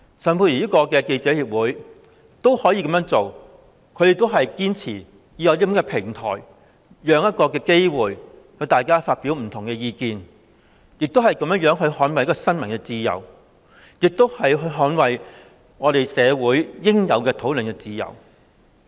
外國記者會仍然堅持提供這種平台及機會讓大家發表不同意見，以捍衞新聞自由及社會應有的討論自由。